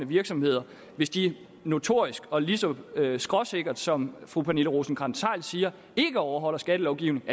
virksomheder hvis de notorisk og lige så skråsikkert som fru pernille rosenkrantz theil siger ikke overholdt skattelovgivningen